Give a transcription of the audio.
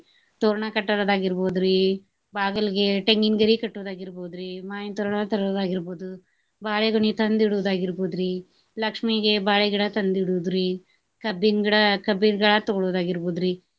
ತೋರಣ ಕಟ್ಟೋದಾಗಿರ್ಬೋದ್ರಿ, ಬಾಗಲ್ಗೆ ಟೆಂಗಿನ್ಗರಿ ಕಟ್ಟೋದಾಗಿರ್ಬೋದ್ರಿ, ಮಾವಿನ ತೋರಣ ತರೋದಾಗಿರ್ಬಹುದು, ಬಾಳೆ ಗೊನಿ ತಂದ ಇಡೋದ ಆಗಿರ್ಬಹುದ್ರಿ, ಲಕ್ಷ್ಮೀಗೆ ಬಾಳೆಗಿಡ ತಂದ ಇಡೋದ್ರಿ, ಕಬ್ಬಿನ್ ಗಿಡ ಕಬ್ಬಿನ್ ತೊಗೊಳೊದಾರ್ಗಿರ್ಬೋದ್ರಿ.